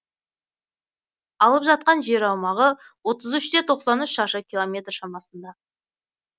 алып жатқан жер аумағы отыз үште тоқсан үш шаршы километр шамасында